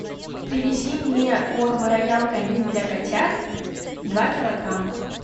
привези мне корм роял канин для котят два килограмма